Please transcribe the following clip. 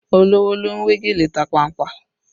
Olówó ló ń we gèlè tapanpa